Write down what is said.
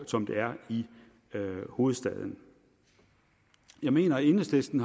som det er i hovedstaden jeg mener at enhedslisten